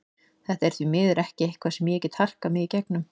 Þetta er því miður ekki eitthvað sem ég get harkað mig í gegnum.